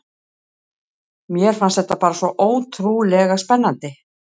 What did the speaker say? Mér fannst þetta bara svo ótrúlega spennandi.